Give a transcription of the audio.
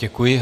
Děkuji.